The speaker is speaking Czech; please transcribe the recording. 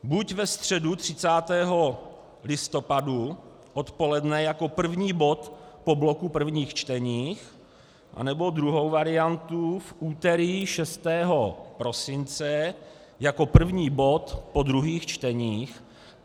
Buď ve středu 30. listopadu odpoledne jako první bod po bloku prvních čtení, anebo druhou variantu v úterý 6. prosince jako první bod po druhých čteních.